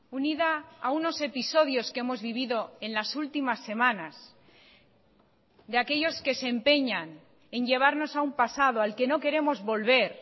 unida a unos episodios que hemos vivido en las últimas semanas de aquellos que se empeñan en llevarnos a un pasado al que no queremos volver